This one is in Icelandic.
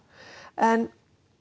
en